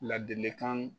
Ladilikan